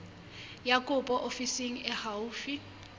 ya kopo ofising e haufi